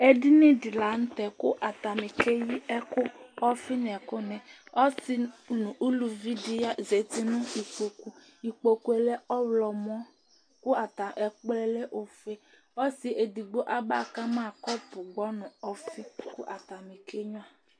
Ɛdiní di la ntɛ kʋ atani keyi ɛku Ɔfi nʋ ɛku ni Ɔsi nʋ ʋlʋvi di zɛti nʋ ikpoku Ikpoku lɛ ɔwlɔmɔ kʋ ɛkplɔɛ lɛ ɔfʋe Ɔsi ɛdigbo aba kama kɔpu dʋnu ɔfi kʋ atani kenyʋa